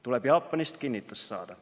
Tuleb Jaapanist kinnitus saada.